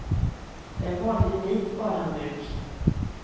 Det är en vanlig vit badhandduk.